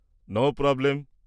-No problem.